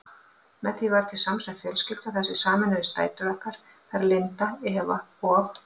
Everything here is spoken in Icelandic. Með því varð til samsett fjölskylda þar sem sameinuðust dætur okkar, þær Linda, Eva og